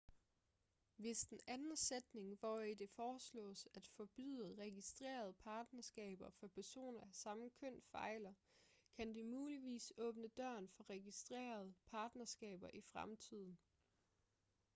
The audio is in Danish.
hvis den anden sætning hvori det foreslås at forbyde registrerede partnerskaber for personer af samme køn fejler kan det muligvis åbne døren for registrerede partnerskaber i fremtiden